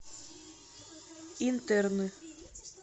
интерны